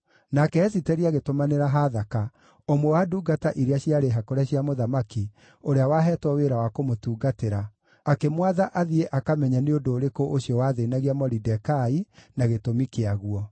Nake Esiteri agĩtũmanĩra Hathaka, ũmwe wa ndungata iria ciarĩ hakũre cia mũthamaki, ũrĩa waheetwo wĩra wa kũmũtungatĩra, akĩmwatha athiĩ akamenye nĩ ũndũ ũrĩkũ ũcio wathĩĩnagia Moridekai, na gĩtũmi kĩaguo.